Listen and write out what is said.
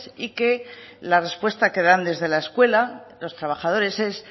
y que la respuesta que dan desde la escuela los trabajadores es